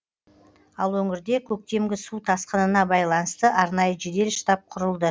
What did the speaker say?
ал өңірде көктемгі су тасқынына байланысты арнайы жедел штаб құрылды